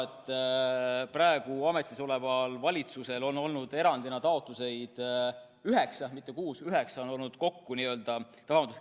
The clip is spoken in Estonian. Praegu ametis oleval valitsusel on olnud erandina kodakondsuse saamise taotlusi üheksa, mitte kuus.